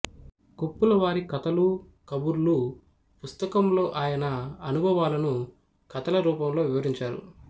కొప్పులవారి కతలూకబుర్లూ పుస్తకంలో ఆయన అనుభవాలను కథల రూపంలో వివరించారు